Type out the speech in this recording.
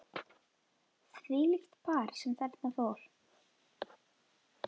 Þvílíkt par sem þarna fór.